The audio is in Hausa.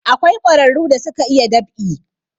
Akwai ƙwararu da suka iya dab'i